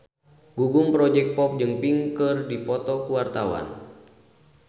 Gugum Project Pop jeung Pink keur dipoto ku wartawan